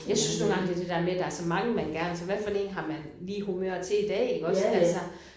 Jeg synes nogle gange det det der med der er så mange man gerne altså hvad en har man lige i humør til i dag iggås altså